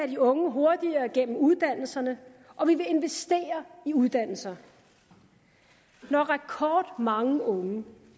de unge hurtigere gennem uddannelserne og vi vil investere i uddannelser når rekordmange unge